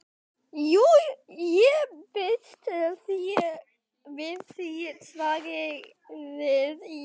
Jú, ég býst við því, svaraði ég.